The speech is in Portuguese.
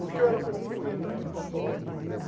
Porque eu era parecido com ele.